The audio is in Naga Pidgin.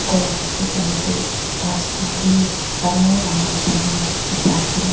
ghor la piche phane tu ghas khan b dangor dangor pali na dikhi pai ase.